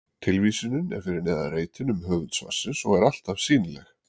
Tilvísunin er fyrir neðan reitinn um höfund svarsins og er alltaf sýnileg.